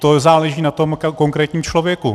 To záleží na tom konkrétním člověku.